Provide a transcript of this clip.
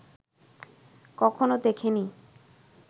কখনো দেখে নি